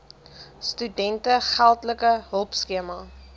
studente geldelike hulpskema